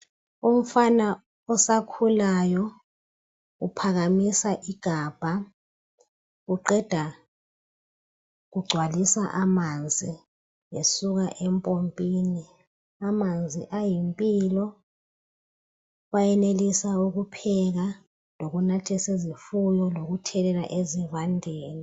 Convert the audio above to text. Umfana osakhulayo uphakamisa igabha uqeda ugcwalisa amanzi esuka empompini. Amanzi ayimpilo bayenelisa ukupheka lokunathisa izifuyo lokuthelela ezivandeni.